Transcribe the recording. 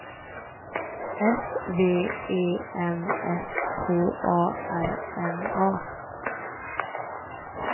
S V E N S K A R N A